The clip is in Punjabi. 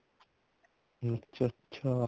ਅੱਛਾ ਅੱਛਾ